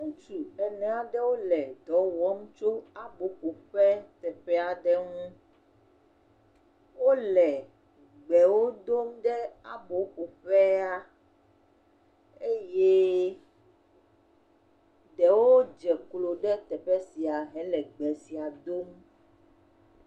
Ŋutsu enea ɖewo le dɔwɔm tso abɔ ƒoƒe teƒea ɖe ŋu, wole ʋewo dom ɖe abo ƒo ƒea, eye ɖewo dzeklo ɖe teƒe sia he le ʋe sia dom.